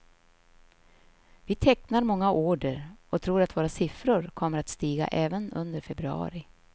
Vi tecknar många order, och tror att våra siffror kommer att stiga även under februari.